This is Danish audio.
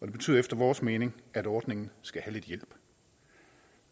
det betyder efter vores mening at ordningen skal have lidt hjælp